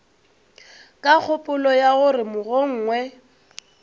ka kgopolo ya gore mogongwe